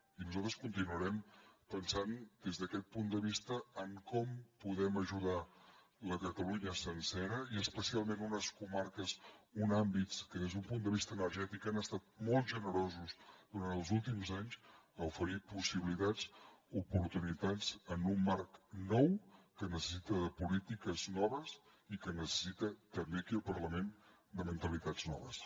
i nosaltres continuarem pensant des d’aquest punt de vista en com podem ajudar la catalunya sencera i especialment unes comarques uns àmbits que des d’un punt de vista energètic han estat molt generosos durant els últims anys a oferir possibilitats i oportunitats en un marc nou que necessita polítiques noves i que necessita també aquí al parlament mentalitats noves